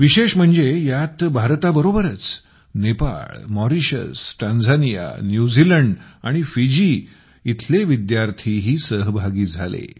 विशेष म्हणजे यात भारताबरोबरच नेपाळ मॉरिशस टांझानिया न्यूझीलंड आणि फिजी येथील विद्यार्थीही सहभागी झाले